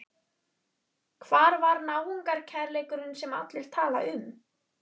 Hvar var náungakærleikurinn sem allir tala um?